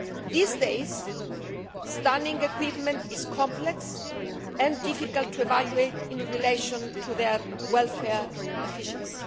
These days, stunning equipment is complex and difficult to evaluate in relation to their welfare efficiency.